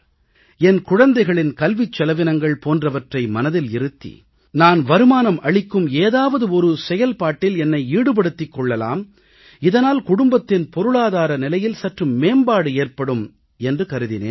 என் குழந்தைகளின் கல்விச் செலவினங்கள் போன்றவற்றை மனதில் இருத்தி நான் வருமானம் அளிக்கும் ஏதாவது ஒரு செயல்பாட்டில் என்னை ஈடுபடுத்திக் கொள்ளலாம் இதனால் குடும்பத்தின் பொருளாதார நிலையில் சற்று மேம்பாடு ஏற்படும் என்று கருதினேன்